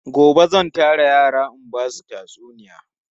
Gobe zan tara yara in ba su tatsuniya.